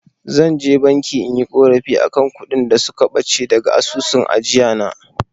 Zan je banki inyi ƙorafi akan kuɗin da suka ɓace daga asusun ajiyana.